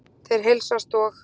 Þeir heilsast og